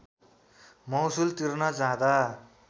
महसुल तिर्न जाँदा